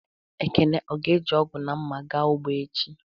Ekene ọ ga-eji ọgu na mma, ga ụgbọ echi?